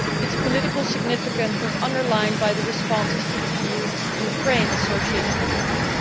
Its political significance was underlined by the responses to the EU Ukraine Association Agreement.